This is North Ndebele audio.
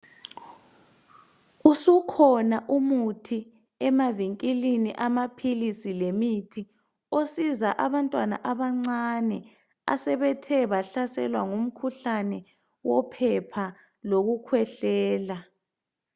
Usukhona umuthi emavinkilini amaphilisi lemithi osiza abantwana abancane asebethe bahlaselwa ngumkhuhlane wophepha lokukhwehlela.